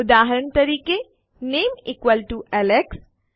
ઉદાહરણ તરીકે નામે ઇક્વલ્સ ટીઓ એલેક્સ